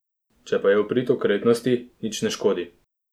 Če pa je v prid okretnosti, nič ne škodi.